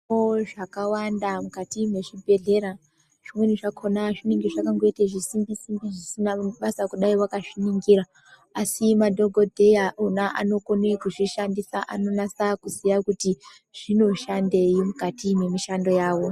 Munewo zvakawanda mukati mwezvibhehlera, zvimweni zvakona zvinenga zvakangoita zvisimbi simbi zvisina basa kudai wakazvingira asi madhokodheya ona anokone kuzvishandisa anonasa kuziya kuti zvonoshandei mukati mwemishando yavo.